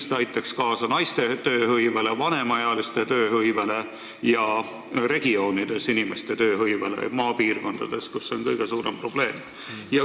See aitaks kindlasti kaasa suuremale naiste ja vanemaealiste tööhõivele ning maal elavate inimeste tööhõivele, mis on kõige raskem probleem.